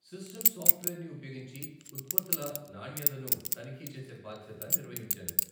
System సాఫ్ట్వేర్ని ఉపయోగించి ఉత్పత్తుల నాణ్యతను తనిఖీ చేసే బాధ్యత నిర్వహించాను.